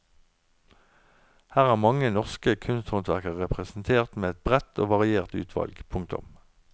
Her er mange norske kunsthåndverkere representert med et bredt og variert utvalg. punktum